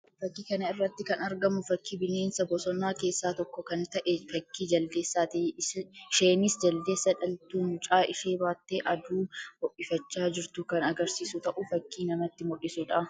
Fakkii kana irratti kan argamu fakkii bineensa bosonaa keessaa tokko kan ta'e fakkii Jaldeessaati. Isheenis Jaldeessa dhaltuu mucaa ishee baattee aduu ho'ifachaa jirtu kan agarsiisu ta'uu fakkii namatti mul'isuu dha.